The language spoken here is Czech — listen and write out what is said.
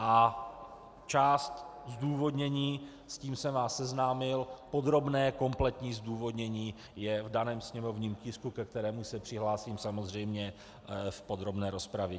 A část zdůvodnění, s tím se vás seznámil, podrobné, kompletní zdůvodnění je v daném sněmovním tisku, ke kterému se přihlásím samozřejmě v podrobné rozpravě.